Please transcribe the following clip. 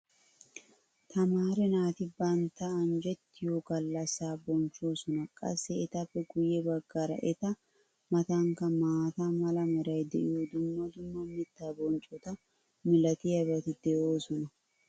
tamaare naati bantta anjjetiyo galassaa bonchchoosona. qassi etappe guye bagaara eta matankka maata mala meray diyo dumma dumma mitaa bonccota malatiyaabati de'oosona.